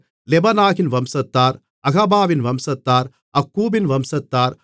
லெபானாகின் வம்சத்தார் அகாபாவின் வம்சத்தார் அக்கூபின் வம்சத்தார்